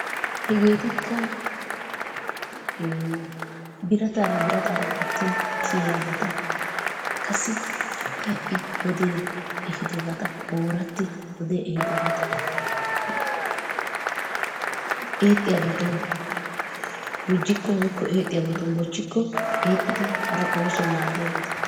Hegeetikka ee birataara birataara gatin kiyiyabata qassi ha'i ha'i wodee ehiidobata oorati wodee ehiidobata eexxiyabatsun gujjikko woykko eexxiyabatun bochikko eexxidi hara oosuwawu maadiyabata.